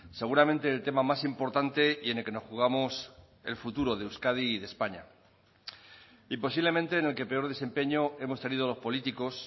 seguramente el tema más importante y en el que nos jugamos el futuro de euskadi y de españa y posiblemente en el que peor desempeño hemos tenido los políticos